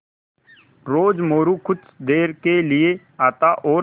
रोज़ मोरू कुछ देर के लिये आता और